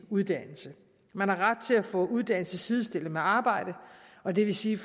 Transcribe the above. uddannelsen man har ret til at få uddannelse sidestillet med arbejde og det vil sige